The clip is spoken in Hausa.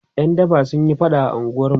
ƴan daba sunyi faɗa a unguwarmu